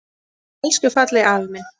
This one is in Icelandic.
Elsku fallegi afi minn.